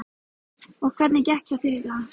Og hvernig gekk hjá þér í dag?